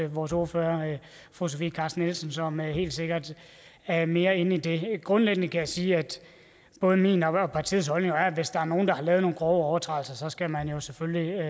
vores ordfører fru sofie carsten nielsen som helt sikkert er mere inde i det grundlæggende kan jeg sige at både min og partiets holdning er at hvis der er nogen der har lavet nogle grove overtrædelser så skal man jo selvfølgelig